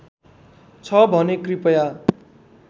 छ भने कृपया